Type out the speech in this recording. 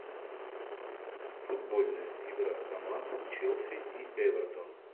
футбольная игра команд челси и эвертон